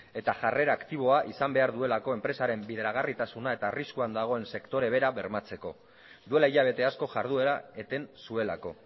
eta jarrera aktiboa izan behar duelako enpresaren bideragarritasuna eta arriskuan dagoen sektore bera bermatzeko duela hilabete asko jarduera eten zuelako